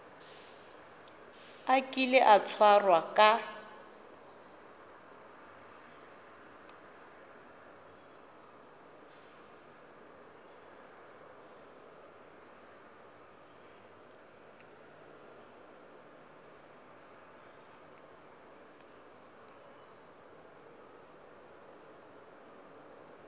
a kile a tshwarwa ka